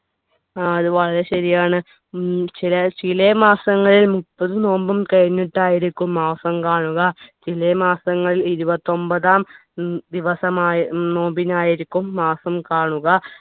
ആ അത് വളരെ ശരിയാണ് ഉം ചില ചെല മാസങ്ങളിൽ മുപ്പത് നോമ്പും കഴിഞ്ഞിട്ടായിരിക്കും മാസം കാണുക ചിലെ മാസങ്ങൾ ഇരുപത്തിഒമ്പതാം ഉം ദിവസമായി നോമ്പിന് ആയിരിക്കും മാസം കാണുക